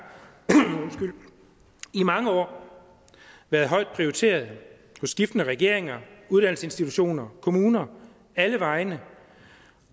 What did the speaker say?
i mange år været højt prioriteret af skiftende regeringer uddannelsesinstitutioner kommuner alle vegne